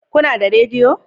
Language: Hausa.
Kuna da rediyo?